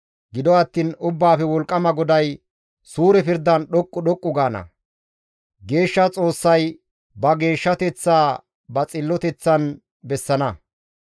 Gido attiin Ubbaafe Wolqqama GODAY, suure pirdan dhoqqu dhoqqu gaana; geeshsha Xoossay ba geeshshateththaa ba xilloteththan bessana.